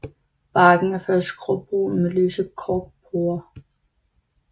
Barken er først gråbrun med lyse korkporer